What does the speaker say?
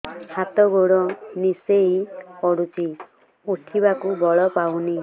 ହାତ ଗୋଡ ନିସେଇ ପଡୁଛି ଉଠିବାକୁ ବଳ ପାଉନି